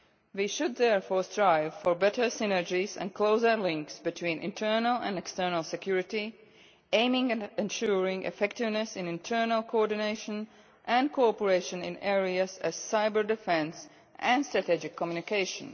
We should therefore strive for better synergies and closer links between internal and external security, aiming at ensuring effectiveness in internal coordination and cooperation in areas such as cyber defence and strategic communication.